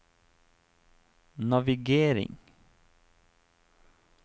navigering